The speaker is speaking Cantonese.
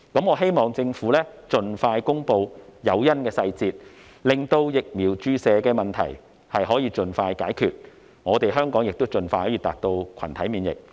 我希望政府盡快公布誘因的細節，令疫苗注射的問題可以盡快解決，香港可盡快達到群體免疫。